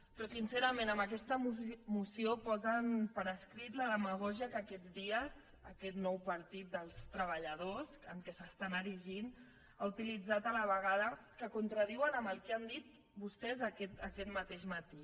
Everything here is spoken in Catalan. però sincerament amb aquesta moció posen per escrit la demagògia que aquests dies aquest nou partit dels treballadors en què s’estan erigint ha utilitzat a la vegada que es contradiuen amb el que han dit vostès aquest mateix matí